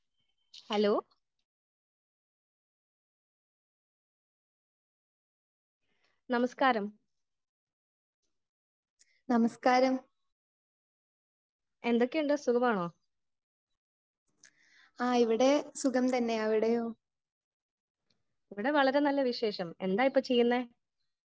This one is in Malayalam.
സ്പീക്കർ 1 ഹലോ നമസ്കാരം എന്തൊക്കയുണ്ട് ? സുഖമാണോ ? ഇവിടെ വളരെ നല്ല വിശേഷം എന്താ ഇപ്പോ ചെയ്യുന്നെ ?